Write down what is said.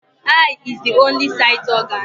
Eye is the only sight organ